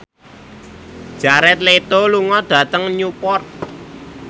Jared Leto lunga dhateng Newport